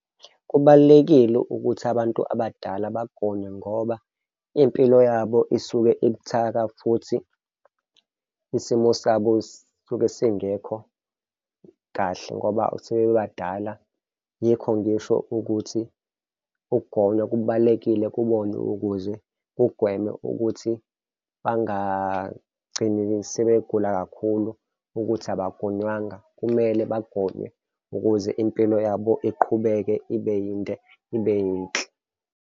Kubalulekile ukuthi abantu abadala bagome ngoba impilo yabo isuke ibuthaka futhi isimo sabo suke singekho kahle ngoba sebebadala. Yikho ngisho ukuthi ukugonywa kubalulekile kubona ukuze kugweme ukuthi bangagcini sebegula kakhulu ukuthi abagonywanga kumele bagonywe ukuze impilo yabo iqhubeke ibe yinde, ibe yinhle.